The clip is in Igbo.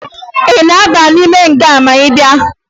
Ị ga-aba n'ime nga ma ị bịa?